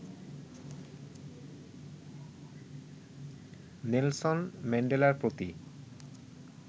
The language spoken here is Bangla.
নেলসন ম্যান্ডেলার প্রতি